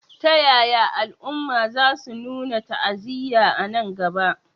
Ta yaya al'umma za su nuna ta'aziyya a nan gaba?